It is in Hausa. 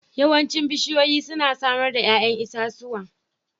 Yawancin bishiyoyi suna samar da 'ya'yan itatuwa